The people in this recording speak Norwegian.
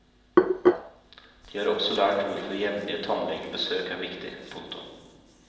De har også lært hvorfor jevnlige tannlegebesøk er viktig. punktum